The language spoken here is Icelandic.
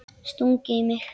Stungið í mig?